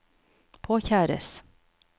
påkjæres